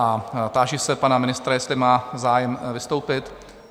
A táži se pana ministra, jestli má zájem vystoupit?